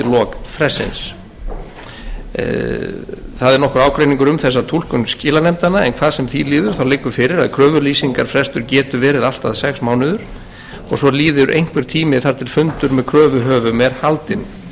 lok frestsins það er nokkur ágreiningur um þessa túlkun skilanefndanna en hvað sem því líður liggur fyrir kröfulýsingarfrestur getur verið allt að sex mánuðir og svo líður einhver tími þar til fundur með kröfuhöfum er haldinn það er ljóst að